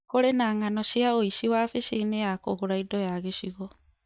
Kũrĩ na ng'ano cia ũici wabici-inĩ ya kũgũra indo ya gĩcigo